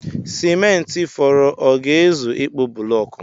Simenti fọrọ ọ ga-ezu ịkpụ bụlọọkụ?